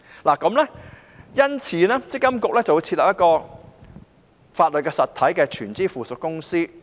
為此，積金局會設立一間屬法律實體的全資附屬公司。